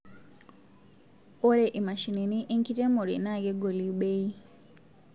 Ore imashinini inkeremore na kegoli beii